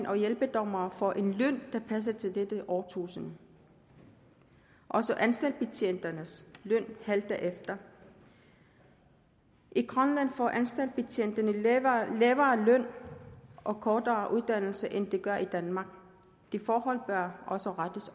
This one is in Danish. og hjælpedommere får en løn der passer til dette årtusind også anstaltbetjentenes løn halter efter i grønland får anstaltbetjentene lavere lavere løn og kortere uddannelse end de gør i danmark det forhold bør også rettes